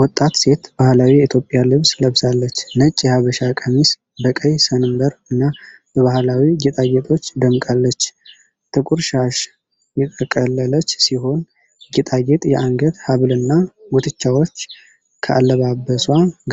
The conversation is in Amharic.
ወጣት ሴት ባህላዊ የኢትዮጵያ ልብስ ለብሳለች። ነጭ የሐበሻ ቀሚስ በቀይ ሰንበር እና በባህላዊ ጌጣጌጦች ደምቃለች። ጥቁር ሻሽ የጠቀለለች ሲሆን የጌጣጌጥ የአንገት ሐብልና ጉትቻዎች ከአለባበሷ